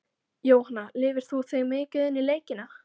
Jóhanna: Lifir þú þig mikið inn í leikina?